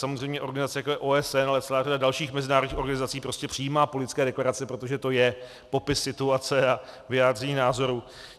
Samozřejmě organizace, jako je OSN a celá řada dalších mezinárodních organizací, prostě přijímá politické deklarace, protože to je popis situace a vyjádření názoru.